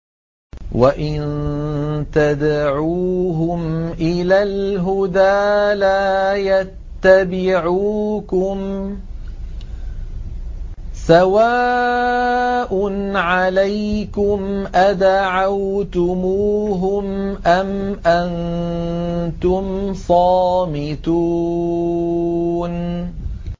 وَإِن تَدْعُوهُمْ إِلَى الْهُدَىٰ لَا يَتَّبِعُوكُمْ ۚ سَوَاءٌ عَلَيْكُمْ أَدَعَوْتُمُوهُمْ أَمْ أَنتُمْ صَامِتُونَ